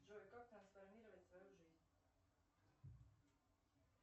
джой как трансформировать свою жизнь